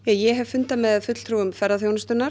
ég hef fundað með fulltrúum ferðaþjónustunnar